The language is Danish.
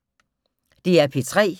DR P3